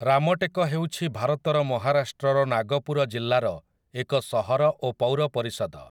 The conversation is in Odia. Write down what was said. ରାମଟେକ ହେଉଛି ଭାରତର ମହାରାଷ୍ଟ୍ରର ନାଗପୁର ଜିଲ୍ଲାର ଏକ ସହର ଓ ପୌର ପରିଷଦ ।